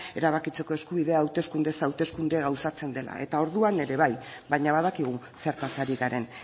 erabakitzeko eskubidea hauteskunde hauteskundez gauzatzen dela eta orduan ere bai baina badakigu zertaz ari garen